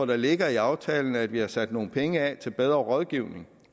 det ligger i aftalen at vi har sat nogle penge af til bedre rådgivning